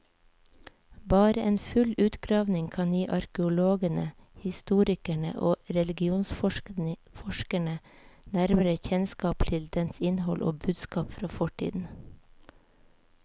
Bare en full utgravning kan gi arkeologene, historikere og religionsforskere nærmere kjennskap til dens innhold og budskap fra fortiden.